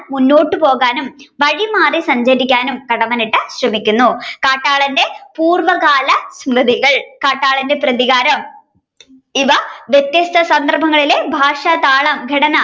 മുന്നോട്ടുപോകാനും വഴിമാറി സഞ്ചരിക്കാനും കടമ്മനിട്ട ശ്രമിക്കുന്നു കാട്ടാളന്റെ പൂർവകാല സ്മ്രിതികൾ കാട്ടാളന്റെ പ്രതികാരം ഇവ വ്യത്യസ്ത സന്ദർഭങ്ങളിൽ ഭാഷ, താളം, ഘടന